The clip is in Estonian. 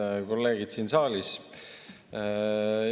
Head kolleegid siin saalis!